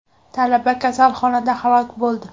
Talaba kasalxonada halok bo‘ldi.